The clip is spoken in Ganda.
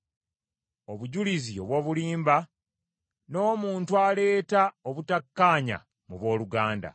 obujulizi obw’obulimba, n’omuntu aleeta obutakkaanya mu booluganda.